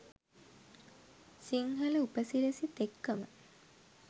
සිංහල උපසිරැසිත් එක්කම.